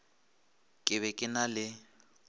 ke be ke na le